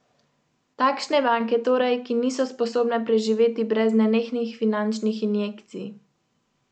Bo dogajanje ene skupine prikazano v eni oddaji ali bomo skupino spremljali dlje časa?